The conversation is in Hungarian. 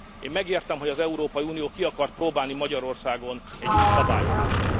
Én megértem, hogy az Európai Unió ki akart próbálni Magyarországon egy új szabályozást.